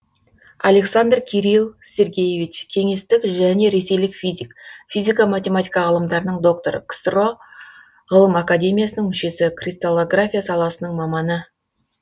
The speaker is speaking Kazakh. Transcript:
александров кирилл сергеевич кеңестік және ресейлік физик физика математика ғылымдарының докторы ксро ғылым академиясының мүшесі кристаллография саласының маманы